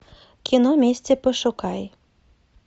кино мести пошукай